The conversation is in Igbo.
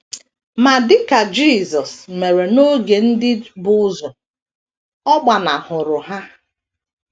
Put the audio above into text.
Ma dị ka Jisọs mere n’oge ndị bu ụzọ, ọ gbanahụrụ ha.